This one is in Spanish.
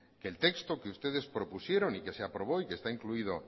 que el texto que ustedes propusieron y que se aprobó y que está incluido